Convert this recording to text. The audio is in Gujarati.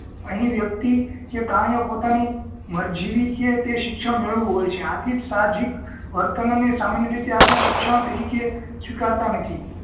અહી વ્યક્તિ કે પ્રાણી ઓ પોતાની મરજી વી તે શિક્ષણ મેળવ્યું હોય છે આથી જ સાહજીક વર્તનોને સામાન્ય રીતે આપણે શિક્ષણ તરીકે સ્વીકારતા નથી